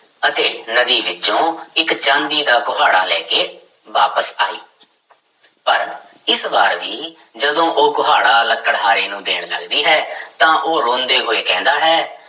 ਅਤੇ ਨਦੀ ਵਿੱਚੋਂ ਇੱਕ ਚਾਂਦੀ ਦਾ ਕੁਹਾੜਾ ਲੈ ਕੇ ਵਾਪਿਸ ਆਈ ਪਰ ਇਸ ਵਾਰ ਵੀ ਜਦੋਂ ਉਹ ਕੁਹਾੜਾ ਲੱਕੜਹਾਰੇ ਨੂੰ ਦੇਣ ਲੱਗਦੀ ਹੈ ਤਾਂ ਉਹ ਰੋਂਦੇ ਹੋਏ ਕਹਿੰਦਾ ਹੈ